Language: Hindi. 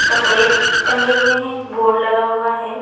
कपड़े टंगे हुए है बोर्ड लगा हुआ है।